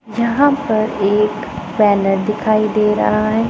यहां पर एक बैनर दिखाई दे रहा है।